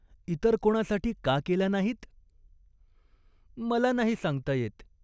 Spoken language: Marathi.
इतर कोणासाठी का केला नाहीत ?" "मला नाही सांगता येत.